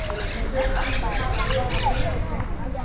En hver ætti að taka við af Heimi?